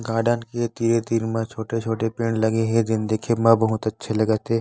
Garden के तीर तीर म छोटे छोटे पेड़ लगे हे जो देखे में बहुत अच्छा लगत हे ।